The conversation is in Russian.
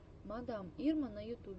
мадам ирма на ютубе